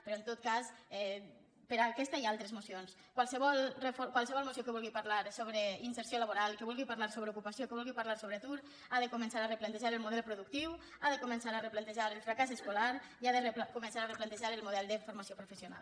però en tot cas per aquesta i altres mocions qualsevol moció que vulgui parlar d’inserció laboral que vulgui parlar sobre ocupació que vulgui parlar sobre atur ha de començar a replantejar el model productiu ha de començar a replantejar el fracàs escolar i ha de començar a replantejar el model de formació professional